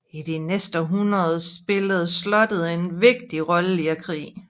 I de næste århundreder spillede slottet en vigtig rolle i krig